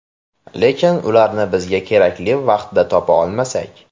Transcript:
Lekin ularni bizga kerakli vaqtda topa olmasak?